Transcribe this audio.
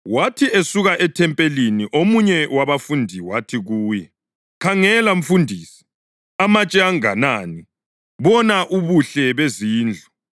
Wathi esuka ethempelini omunye wabafundi wathi kuye, “Khangela, Mfundisi! Amatshe anganani! Bona ubuhle bezindlu!”